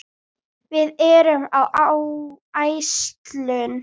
Við erum á áætlun.